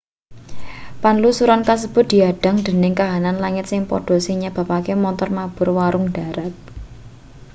panlusuran kasebut diadhang dening kahanan langit sing padha sing nyebabake montor mabur wurung ndharat